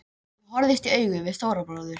Ég horfðist í augu við Stóra bróður.